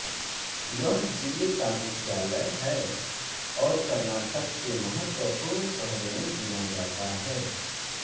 यह ज़िले का मुख्यालय है और कर्नाटक के महत्वपूर्ण शहरों में गिना जाता है